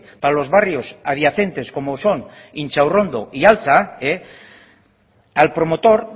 para los barrios adyacentes como son intxaurrondo y altza al promotor